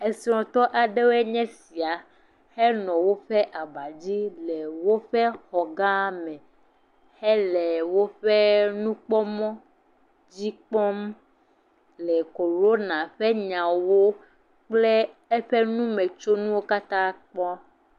Esrɔ̃tɔ aɖewoe nye esia henɔ woƒe abadzi le woƒe xɔ gã me hele woƒe nukpɔmɔ dzi kpɔm le korona ƒe nyawo kple eƒe numetsonuwo katã kpɔm.